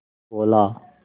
बोला